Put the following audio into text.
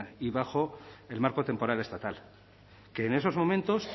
y bajo el marco temporal estatal que en esos momentos